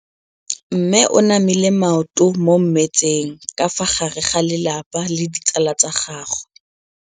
Mme o namile maoto mo mmetseng ka fa gare ga lelapa le ditsala tsa gagwe.